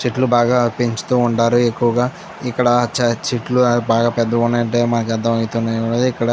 చెట్లు బాగా పెంచుతూ ఉండారు ఎక్కువగా. ఇక్కడ చే చెట్లు బాగా పెద్ద --